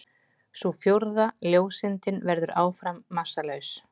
Sú fjórða, ljóseindin, verður áfram massalaus.